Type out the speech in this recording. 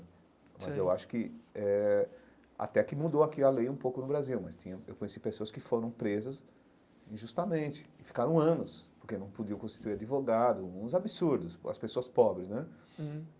Mas eu acho que eh até que mudou aqui a lei um pouco no Brasil, mas tinham eu conheci pessoas que foram presas injustamente e ficaram anos, porque não podiam constituir advogado, uns absurdos, as pessoas pobres, né? uhum